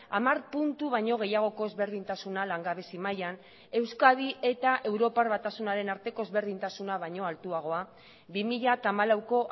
hamar puntu baino gehiagoko ezberdintasuna langabezi mailan euskadi eta europar batasunaren arteko ezberdintasuna baino altuagoa bi mila hamalauko